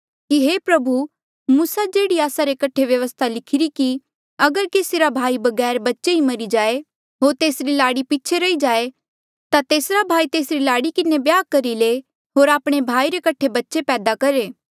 कि हे गुरू मूसा जेह्ड़ी आस्सा रे कठे व्यवस्था लिखीरी कि अगर केसी रा भाई बगैर बच्चे ही मरी जाए होर तेसरी लाड़ी पीछे रही जाए ता तेसरा भाई तेसरी लाड़ी किन्हें ब्याह करी ले होर आपणे भाई रे कठे बच्चे पैदा करहे